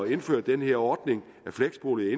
indføre den her ordning med fleksboliger